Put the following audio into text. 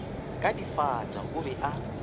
ka difata o be a